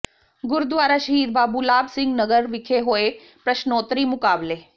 ਗੁਰਦੁਆਰਾ ਸ਼ਹੀਦ ਬਾਬੂ ਲਾਭ ਸਿੰਘ ਨਗਰ ਵਿਖੇ ਹੋਏ ਪ੍ਰਸ਼ਨੋਤਰੀ ਮੁਕਾਬਲੇ